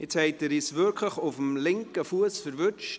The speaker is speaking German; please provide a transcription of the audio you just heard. Jetzt haben Sie uns wirklich auf dem linken Fuss erwischt.